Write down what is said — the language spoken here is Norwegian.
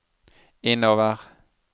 innover